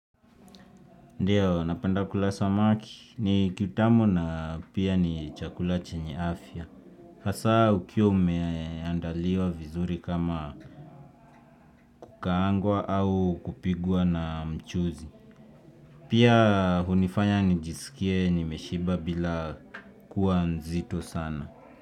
Ndiyo, napenda kula samaki. Ni kitamu na pia ni chakula chenye afya. Hasa ukiwa umeandaliwa vizuri kama kukangwa au kupigwa na mchuzi. Pia hunifanya nijisikie nimeshiba bila kuwa mzito sana.